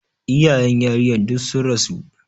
Iyayen yarinyar duk sun rasu.